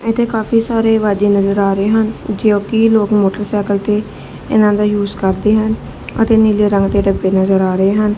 ਇਤੇ ਕਾਫੀ ਸਾਰੇ ਵਾਜੇ ਨਜ਼ਰ ਆ ਰਹੇ ਹਨ ਜੋਕਿ ਲੋਕ ਮੋਟਰਸਾਈਕਲ ਤੇ ਇਹਨਾਂ ਦਾ ਯੂਜ ਕਰਦੇ ਹਨ ਅਤੇ ਨੀਲੇ ਰੰਗ ਦੀ ਡੱਬੇ ਨਜ਼ਰ ਆ ਰਹੇ ਹਨ।